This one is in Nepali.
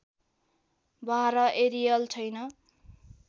बाह्य एरियल छैन